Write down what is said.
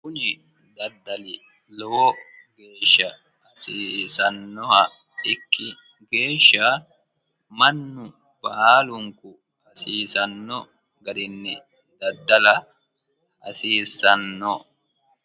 Kuni daddali lowo geeshsha seesanoha ikki geeshsha mannu baalunku hasiisano garinni daddalla hasiisano.